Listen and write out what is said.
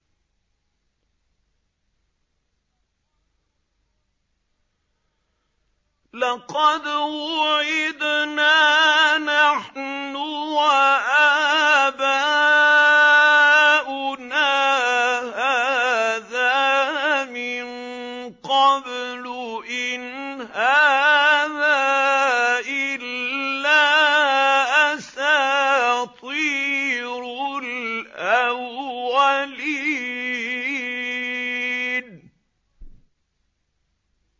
لَقَدْ وُعِدْنَا نَحْنُ وَآبَاؤُنَا هَٰذَا مِن قَبْلُ إِنْ هَٰذَا إِلَّا أَسَاطِيرُ الْأَوَّلِينَ